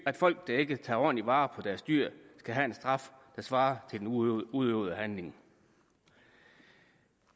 at folk der ikke tager ordentligt vare på deres dyr skal have en straf der svarer til den udøvede udøvede handling